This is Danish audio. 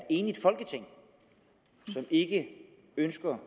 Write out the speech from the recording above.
enigt folketing som ikke ønsker